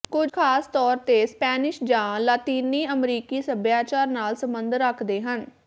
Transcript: ਕੁਝ ਖਾਸ ਤੌਰ ਤੇ ਸਪੈਨਿਸ਼ ਜਾਂ ਲਾਤੀਨੀ ਅਮਰੀਕੀ ਸੱਭਿਆਚਾਰ ਨਾਲ ਸੰਬੰਧ ਰੱਖਦੇ ਹਨ